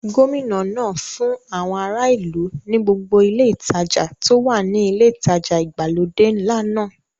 Gómìnà náà fún àwọn ará ìlú ní gbogbo ile ìtajà tó wà ní ilé ìtajà ìgbàlódé ńlá náà.